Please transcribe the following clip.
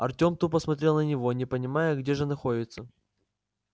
артём тупо смотрел на него не понимая где же находится